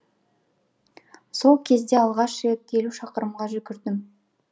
сол кезде алғаш рет елу шақырымға жүгірдім